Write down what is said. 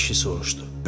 Deyə kişi soruşdu.